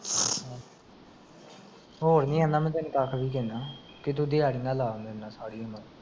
ਹੋਰ ਕਿ ਤੂੰ ਦਿਹਾੜੀ ਨਾ ਲਾ ਮੇਰੇ ਨਾਲ ਸਾਰੀ ਉਮਰ